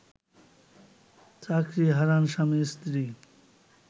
চাকরি হারান স্বামী-স্ত্রী